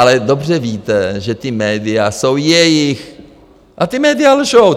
Ale dobře víte, že ta média jsou jejich a ta média lžou.